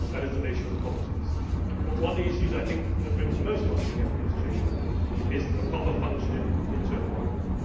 That is the nature of politics. But one of the issues that I think brings most of us together in this Chamber is a properly functioning internal market.